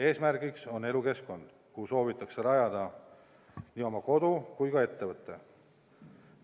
Eesmärgiks on elukeskkond, kuhu soovitakse rajada nii oma kodu kui ka ettevõte.